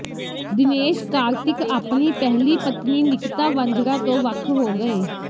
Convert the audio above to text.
ਦਿਨੇਸ਼ ਕਾਰਤਿਕ ਆਪਣੀ ਪਹਿਲੀ ਪਤਨੀ ਨਿਕਿਤਾ ਵਾਂਝੜਾ ਤੋਂ ਵੱਖ ਹੋ ਗਏ